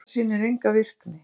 Radar sýnir enga virkni